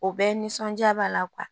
O bɛɛ nisɔnjaa b'a la